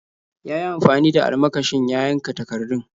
Ya yi amfani da almakashin ya yanka takardun.